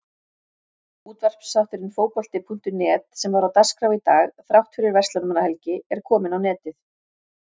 Útvarpsþátturinn Fótbolti.net sem var á dagskrá í dag þrátt fyrir Verslunarmannahelgi er kominn á netið.